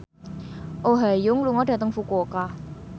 Oh Ha Young lunga dhateng Fukuoka